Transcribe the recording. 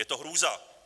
Je to hrůza!